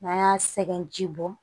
N'an y'a sɛgɛn ji bɔ